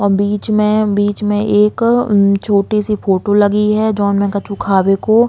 और बीच में बीच में एक उम छोटी सी फोटो लगी है जोन में कछु खावे को --